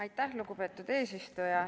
Aitäh, lugupeetud eesistuja!